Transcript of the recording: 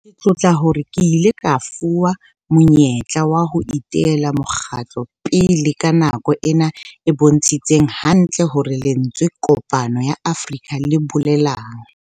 Ke tlotla hore re ile ra fuwa monyetla wa ho etella mokgatlo pele ka nako ena e bontshitseng hantle hore lentswe 'Kopano ya Afrika' le bolelang.